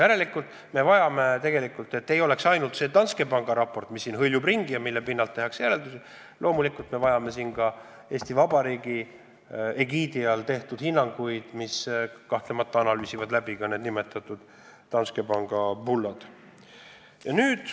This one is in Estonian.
Järelikult me vajame seda, et ei oleks ainult see Danske panga raport, mis siin ringi hõljub ja mille pinnalt tehakse järeldusi, vaid loomulikult me vajame ka Eesti Vabariigi egiidi all antud hinnanguid, mille koostamisel analüüsitakse muidugi läbi ka Danske panga bullad.